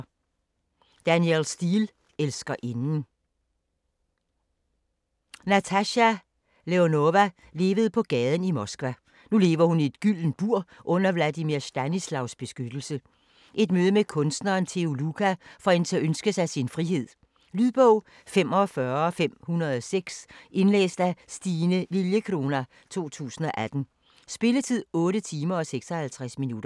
Steel, Danielle: Elskerinden Natasha Leonova levede på gaden i Moskva. Nu lever hun i et gyldent bur under Vladimir Stanislavs beskyttelse. Et møde med kunstneren Theo Luca får hende til at ønske sig sin frihed. Lydbog 45506 Indlæst af Stine Lilliecrona, 2018. Spilletid: 8 timer, 56 minutter.